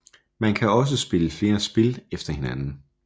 Man kan også spille flere spil efter hinanden